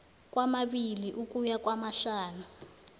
kwamabili ukuya kwamahlanu